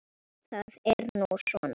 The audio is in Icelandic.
Það er nú svona.